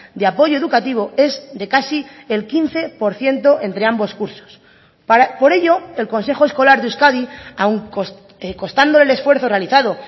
de apoyo educativo es de casi el quince por ciento entre ambos cursos por ello el consejo escolar de euskadi aun costando el esfuerzo realizado